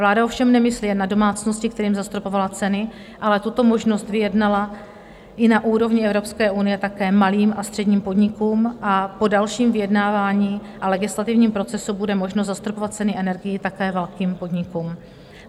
Vláda ovšem nemyslí jen na domácnosti, kterým zastropovala ceny, ale tuto možnost vyjednala i na úrovni Evropské unie také malým a středním podnikům a po dalším vyjednávání a legislativním procesu bude možno zastropovat ceny energií také velkým podnikům.